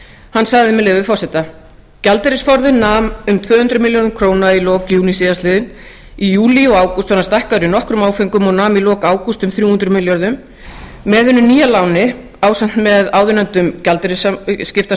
hann sagði með leyfi forseta gjaldeyrisforðinn meðal annars um tvö hundruð milljörðum króna í lok júní síðastliðinn í júlí og ágúst var hann stækkaður í nokkrum áföngum og nam í lok ágúst um þrjú hundruð milljörðum með hinu nýja láni ásamt áðurnefndum gjaldeyrisskiptasamningum